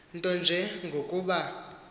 nto nje ngokuba